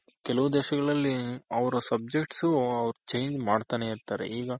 ಕೆಲವು ದೇಶಗಳಲ್ಲಿ ಅವ್ರ subjects change ಮಾಡ್ತಾನೆ ಇರ್ತಾರೆ.